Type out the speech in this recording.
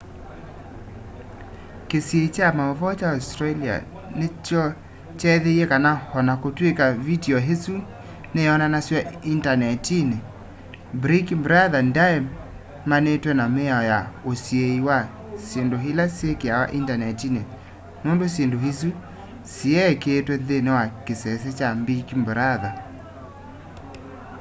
kĩsiio kya maũvoo kya australia nokyethĩie kana o na kũtw'ĩka vitiũ ĩsu nĩyonanasw'a indanetinĩ big brother ndyaemanĩtwe na mĩao ya usiĩi wa syĩndũ ila syĩkĩawa indanetinĩ nũndũ syĩndũ isu siyekĩĩtwe nthĩinĩ wa kĩsese kya big brother